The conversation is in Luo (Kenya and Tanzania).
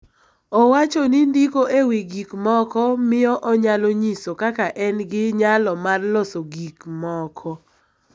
Owacho ni ndiko e wi gik moko miyo onyalo nyiso kaka en gi nyalo mar loso gik moko.